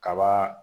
Kaba